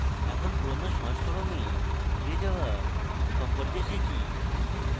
এখন পুরোনো সংস্করণে ফিরে যাওয়া সম্পর্কে শিখি